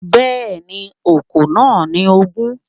Bẹ́ẹ̀ni, okòó náà ni ogun